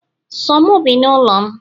So mu bi n'ulo'm